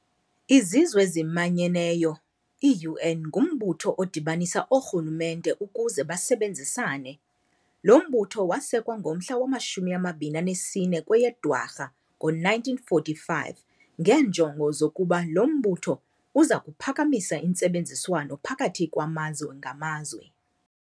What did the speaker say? Izizw'ezimanyeneyo, i-UN, ngumbutho odibanisa oorhulumente ukuze basebenzisane. Lo mbutho wasekwa ngomhla wama-24 kweyeDwarha ngo-1945 ngeenjongo zokokuba lo mbutho uza kuphakamisa intsebenziswano phakathi kwamazwe ngamazwe.